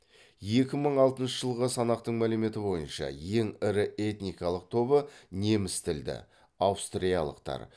екі мың алтыншы жылғы санақтың мәліметі бойынша ең ірі этникалық тобы неміс тілді аустриялықтар